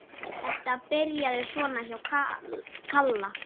Þetta byrjaði svona hjá Kalla.